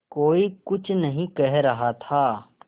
कोई कुछ नहीं कह रहा था